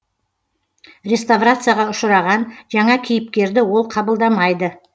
реставрацияға ұшыраған жаңа кейіпкерді ол қабылдамайды